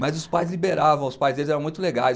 Mas os pais liberavam, os pais deles eram muito legais.